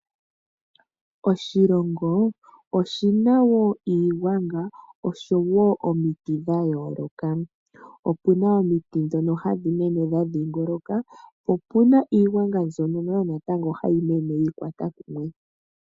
Oshilongo oshi na wo iigwanga oshowo omiti dha yooloka. Opu na omiti ndhono hadhi mene dha dhiingoloka, po opu na iigwanga yimwe mbyoka hayi mene yi ikwata kumwe.